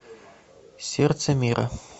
сердце мира